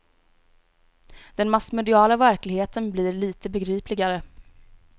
Den massmediala verkligheten blir lite begripligare.